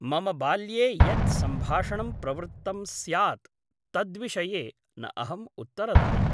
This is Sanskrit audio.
मम बाल्ये यत् सम्भाषणं प्रवृत्तं स्यात् तद्विषये न अहम् उत्तरदायी ।